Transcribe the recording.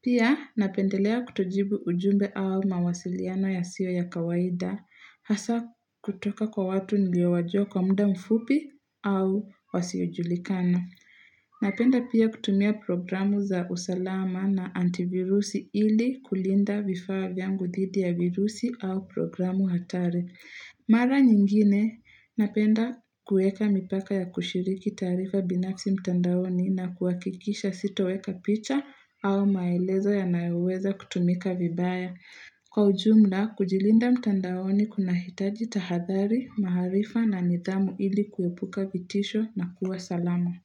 Pia napendelea kutojibu ujumbe au mawasiliano yasiyo ya kawaida hasa kutoka kwa watu niliowajuwa kwa muda mfupi au wasiojulikana Napenda pia kutumia programu za usalama na antivirusi ili kulinda vifaa vyangu dhidi ya virusi au programu hatari. Mara nyingine napenda kueka mipaka ya kushiriki taarifa binafsi mtandaoni na kuakikisha sitoweka picha au maelezo yanayoweza kutumika vibaya. Kwa ujumla, kujilinda mtandaoni kuna hitaji tahadhari, maharifa na nidhamu ili kuepuka vitisho na kuwa salama.